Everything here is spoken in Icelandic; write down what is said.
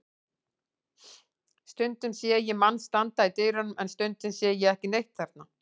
Stundum sé ég mann standa í dyrunum en stundum sé ég ekki neitt þarna.